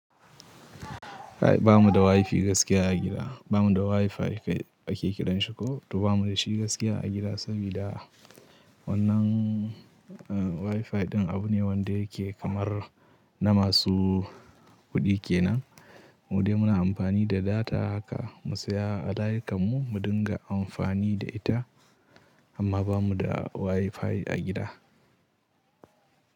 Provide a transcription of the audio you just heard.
Kai ba mu da WiFi gaskiya a gida. Ba mu da WiFi ake kiran shi ko, to ba mu da shi gaskiya a gida sabida wannan WiFi ɗin abu ne wanda yake kamar na masu kuɗi kenan. Mu dai muna amfani da data haka mu saya a layi kanmu, mu dinga amfani da ita, amma ba mu da WiFi a gida.